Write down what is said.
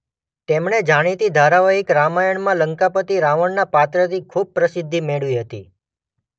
તેમણે જાણીતી ધારાવાહિક રામાયણમાં લંકાપતિ રાવણના પાત્રથી ખૂબ પ્રસિદ્ધિ મેળવી હતી.